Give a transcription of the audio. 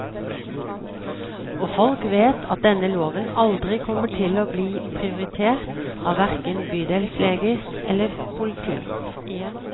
Og folk vet at denne loven aldri kommer til å bli prioritert av hverken bydelsleger eller politi.